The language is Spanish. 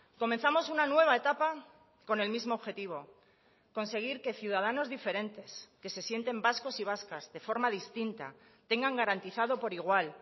comenzamos una nueva etapa con el mismo objetivo conseguir que ciudadanos diferentes que se sienten vascos y vascas de forma distinta tengan garantizado por igual